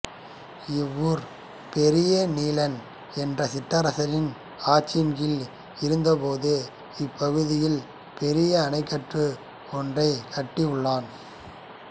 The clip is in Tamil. இவ்வூர் பெரியநீலன் என்ற சிற்றரசனின் ஆட்சியின் கீழ் இருந்தபோது இப்பகுதியில் பெரிய அணைக்கட்டு ஒன்றைக் கட்டியுள்ளான்